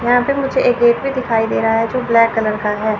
यहां पे मुझे एक गेट भी दिखाई दे रहा है जो ब्लैक कलर का है।